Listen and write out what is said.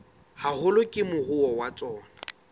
haholo ke moruo wa tsona